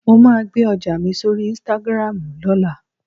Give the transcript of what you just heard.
Mo máa gbe ọjà mi sórí "Instagram" lọ́la